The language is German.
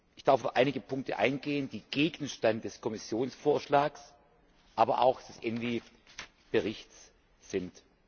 Ich darf auf einige Punkte eingehen, die Gegenstand des Kommissionsvorschlags, aber auch des ENVI Berichts sind.